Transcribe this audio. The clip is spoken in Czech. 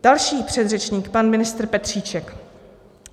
Další předřečník, pan ministr Petříček.